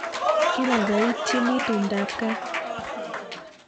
Kibaibaitynchini tumdab kaa